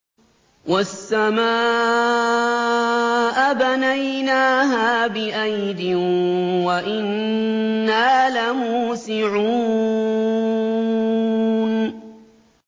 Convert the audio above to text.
وَالسَّمَاءَ بَنَيْنَاهَا بِأَيْدٍ وَإِنَّا لَمُوسِعُونَ